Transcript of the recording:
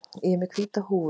Ég er með hvíta húfu.